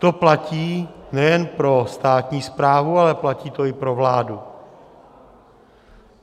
To platí nejen pro státní správu, ale platí to i pro vládu.